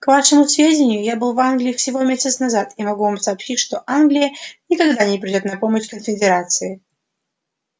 к вашему сведению я был в англии всего месяц назад и могу вам сообщить что англия никогда не придёт на помощь конфедерации